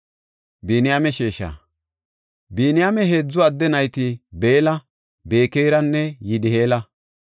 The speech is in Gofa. Biniyaame heedzu adde nayti Beella, Bekeranne Yidi7eela.